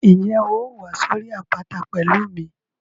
Ǹjẹ́ o óò wá sórí àpáta pẹ̀lú mi?